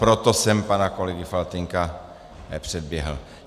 Proto jsem pana kolegu Faltýnka předběhl.